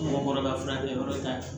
Mɔgɔ kɔrɔba fana t'a ɲɛ